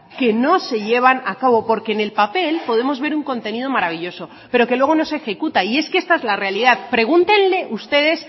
que no se llevan a cabo porque en el papel podemos ver un contenido maravilloso pero que luego no se ejecuta y es que es la realidad pregúntenle ustedes